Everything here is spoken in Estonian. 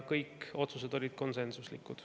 Kõik otsused olid konsensuslikud.